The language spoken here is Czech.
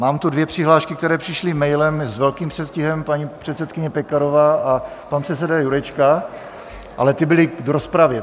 Mám tu dvě přihlášky, které přišly mailem s velkým předstihem, paní předsedkyně Pekarová a pan předseda Jurečka, ale ty byly k rozpravě.